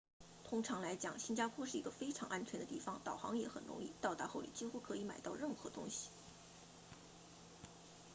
通常来讲新加坡是一个非常安全的地方导航也很容易到达后你几乎可以买到任何东西